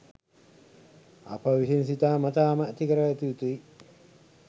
අප විසින් සිතාමතාම ඇති කරගත යුතුයි